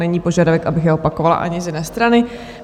Není požadavek, abych je opakovala, ani z jedné strany.